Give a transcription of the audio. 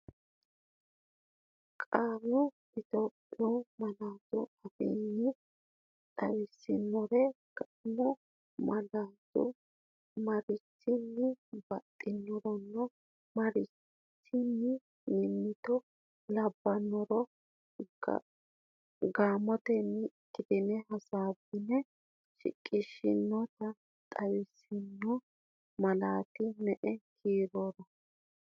Qaalla Itophiyu malaatu afiin xawisiro, kaimu malaatinsanni marichinni baxxitannoronna marichinni mimmito labbannoro gaamotenni ikkitine hasaabbine shiqishshe, tinota xawisanno malaati me”e kiirora?